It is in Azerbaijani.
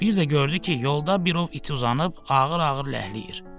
Bir də gördü ki, yolda bir ov iti uzanıb, ağır-ağır ləhləyir.